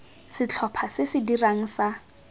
setlhopha se se dirang sa